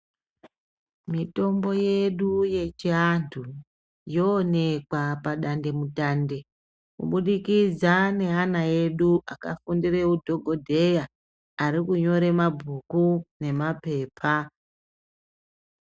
Mitomboyedu yechiantu yooneka padande mutande kubudikidza neana ede akafundire udhokodheya arikunyore mabhuku nemapepa.